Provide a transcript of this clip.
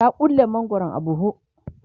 ta ƙulle mangwaron a buhu